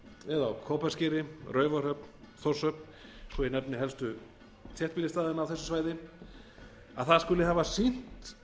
eða á kópaskeri raufarhöfn þórshöfn svo ég nefni helstu þéttbýlisstaðina á þessu svæði að það skuli hafa sýnt